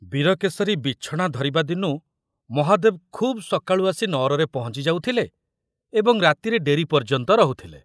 ବୀରକେଶରୀ ବିଛଣା ଧରିବା ଦିନୁ ମହାଦେବ ଖୁବ ସକାଳୁ ଆସି ନଅରରେ ପହଞ୍ଚି ଯାଉଥିଲେ ଏବଂ ରାତିରେ ଡେରି ପର୍ଯ୍ୟନ୍ତ ରହୁଥିଲେ।